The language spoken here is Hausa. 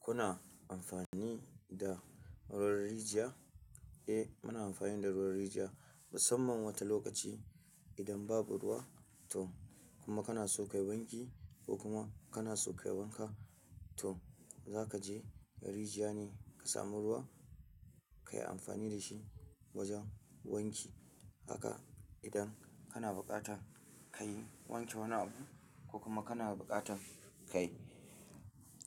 Kuna amfani da ruwan rijiya? Eh, muna amfani da ruwan rijiya musamman wata lokaci idan babu ruwa to kuma kana so ka yi wanki ko kuma kana so ka yi wanka. To za ka je rijiya ne ka sami ruwa kayi amfani da shi wajen wanki. Haka idan kana buƙatar kayi wanke wani abu ko kuma kana buƙatar kayi